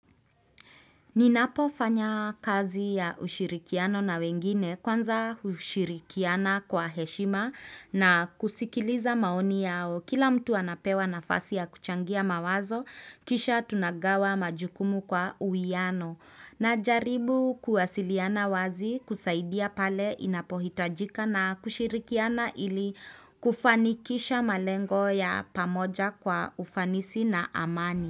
Ninapofanya kazi ya ushirikiano na wengine kwanza hushirikiana kwa heshima na kusikiliza maoni yao. Kila mtu anapewa nafasi ya kuchangia mawazo, kisha tunagawa majukumu kwa uwiyano. Na jaribu kuwasiliana wazi kusaidia pale inapohitajika na kushirikiana ili kufanikisha malengo ya pamoja kwa ufanisi na amani.